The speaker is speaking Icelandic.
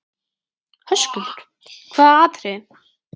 Höskuldur: Hvaða atriðið?